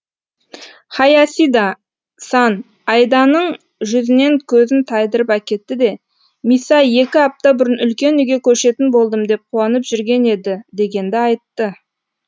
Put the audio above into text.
хаясида сан айданың жүзінен көзін тайдырып әкетті де миса екі апта бұрын үлкен үйге көшетін болдым деп қуанып жүрген еді дегенді айтты